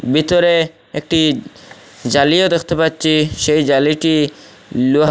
ভিতরে একটি জালিও দেখতে পাচ্ছি সেই জালিটি লোহা--